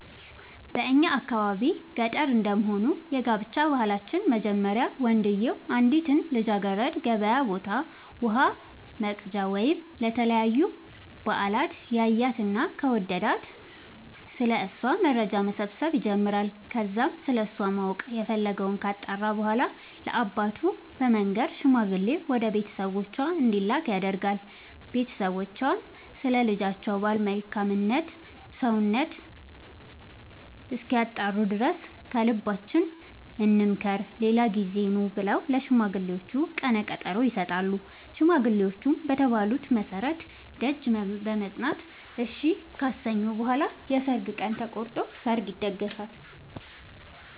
በእኛ የአካባቢ ገጠር እንደመሆኑ የጋብቻ ባህላችን መጀመሪያ ወንድዬው አንዲትን ልጃገረድ ገበያ ቦታ ውሃ ወቅጃ ወይም ለተለያዩ በአላት ያያትና ከወደዳት ስለ እሷ መረጃ መሰብሰብ ይጀምራይ ከዛም ስለሷ ማወቅ የፈለገወን ካጣራ በኋላ ለአባቱ በመንገር ሽማግሌ ወደ ቤተሰቦቿ እንዲላክ ያደርጋል ቦተሰቦቿም ስለ ልጃቸው ባል መልካም ሰውነት እስኪያጣሩ ድረስ ከልባችን እንምከር ሌላ ጊዜ ኑ ብለው ለሽማግሌዎቹ ቀነቀጠሮ ይሰጣሉ ሽማግሌዎቹም በተባሉት መሠረት ደጅ በመፅና እሺ ካሰኙ በኋላ የሰርግ ቀን ተቆርጦ ሰርግ ይደገሳል።